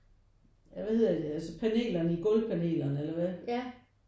Ja hvad hedder det altså panelerne gulv panelerne eller hvad?